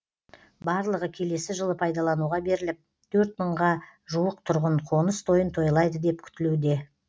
барлығы келесі жылы пайдалануға беріліп төрт мыңға жуық тұрғын қоныс тойын тойлайды деп күтілуде